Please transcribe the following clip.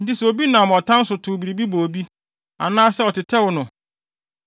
Enti sɛ obi nam ɔtan so tow biribi bɔ obi, anaa, sɛ ɔtetɛw no,